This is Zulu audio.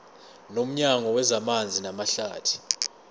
nomnyango wezamanzi namahlathi